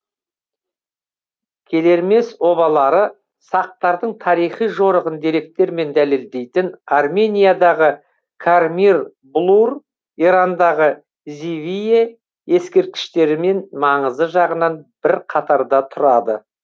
келермес обалары сақтардың тарихи жорығын деректермен дәлелдейтін армениядағы кармир блур ирандағы зивие ескерткіштерімен маңызы жағынан бір қатарда тұрады